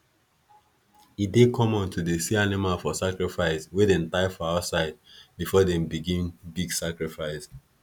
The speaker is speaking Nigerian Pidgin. e dey common to dey see animals for sacrifice wey them tie for outside before them begin big sacrifice